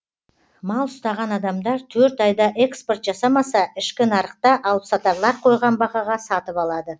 мал ұстаған адамдар төрт айда экспорт жасамаса ішкі нарықта алыпсатарлар қойған бағаға сатып алады